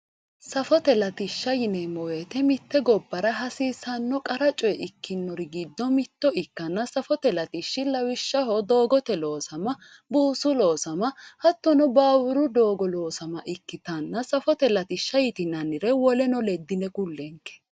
Safote latishsha yineemmo woyte mite gobbara hasiisano qarra coye ikkinori giddo mitto ikkanna safote latishshi lawishshaho doogote loossama buusu loossama hattono baburu doogo loosama ikkittanna safote latishsha yitinannire woleno ledine ku'lenke !!